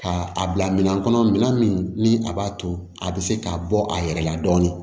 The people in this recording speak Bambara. Ka a bila minɛn kɔnɔ minɛn min ni a b'a to a bɛ se k'a bɔ a yɛrɛ la dɔɔnin